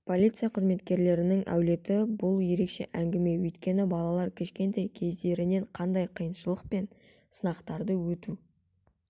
полиция қызметкерлерінің әулеті бұл ерекше әңгіме өйткені балалар кішкентай кездерінен қандай қиыншылық пен сынақтарды өту